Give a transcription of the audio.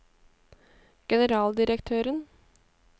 generaldirektøren